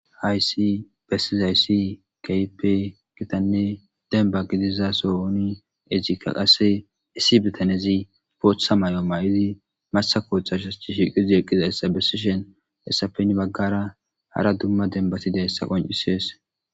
Haysi bessizayssi kaype gitanne denba gidiza soowooni egika qasse issi bitanezi pootha may'o mayidi masa kooththa shas ti shiqizi eqqizayssa bessishen hessapen baggara hara dumma denbatida hessa qoncisees.